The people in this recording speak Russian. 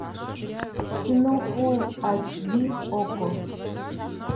кино фул эйч ди окко